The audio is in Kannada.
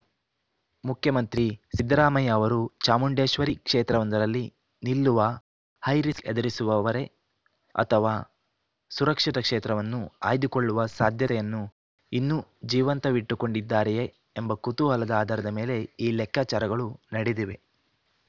ಮುಖ್ಯಮಂತ್ರಿ ಸಿದ್ದರಾಮಯ್ಯ ಅವರು ಚಾಮುಂಡೇಶ್ವರಿ ಕ್ಷೇತ್ರವೊಂದರಲ್ಲಿ ನಿಲ್ಲುವ ಹೈ ರಿಸ್ಕ್‌ ಎದುರಿಸುವರೇ ಅಥವಾ ಸುರಕ್ಷಿತ ಕ್ಷೇತ್ರವನ್ನು ಆಯ್ದುಕೊಳ್ಳುವ ಸಾಧ್ಯತೆಯನ್ನು ಇನ್ನೂ ಜೀವಂತವಿಟ್ಟುಕೊಂಡಿದ್ದಾರೆಯೇ ಎಂಬ ಕುತೂಹಲದ ಆಧಾರದ ಮೇಲೆ ಈ ಲೆಕ್ಕಾಚಾರಗಳು ನಡೆದಿವೆ